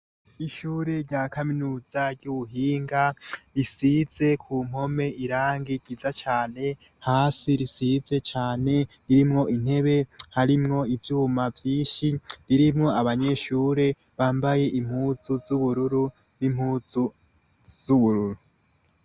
Ishure rya Kaminuza y'Ubuhinga isize ku mpome irangi ryiza cane, hasi risize cane ririmwo intebe harimwo ivyuma vyinshi. Ririmwo abanyeshure bambaye impuzu z'ubururu n'impuzu z'ubururu.